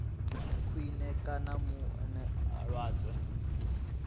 khwine kana u mu lwadza